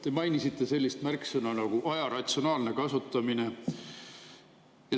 Te mainisite sellist märksõna nagu aja ratsionaalne kasutamine.